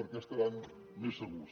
perquè estaran més segurs